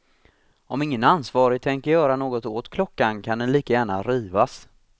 Om ingen ansvarig tänker göra något åt klockan kan den lika gärna rivas.